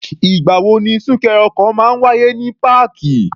Ì̀gbà wo ni súnkẹrẹ ọkọ̀ máa ń wáyé ní páàkì?